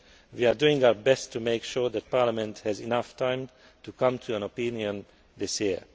We are doing our best to make sure that Parliament has enough time to come to an opinion this year.